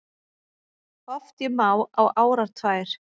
Oft ég má á árar tvær